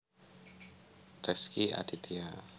Rezky Aditya